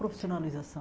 Profissionalização.